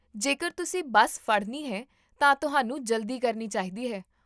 ਜੇਕਰ ਤੁਸੀਂ ਬੱਸ ਫੜਨੀ ਹੈ ਤਾਂ ਤੁਹਾਨੂੰ ਜਲਦੀ ਕਰਨੀ ਚਾਹੀਦੀ ਹੈ